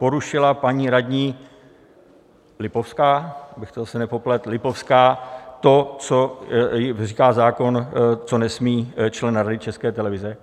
Porušila paní radní Lipovská - abych to zase nepopletl - Lipovská to, co říká zákon, co nesmí člen Rady České televize?